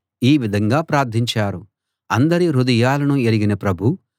ఈ విధంగా ప్రార్థించారు అందరి హృదయాలను ఎరిగిన ప్రభూ